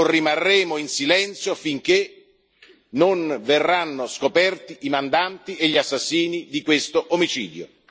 Non rimarremo in silenzio finché non verranno scoperti i mandanti e gli assassini di questo omicidio.